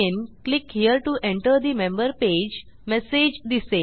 click here to enter the member page message दिसेल